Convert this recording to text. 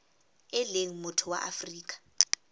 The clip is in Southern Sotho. e leng motho wa afrika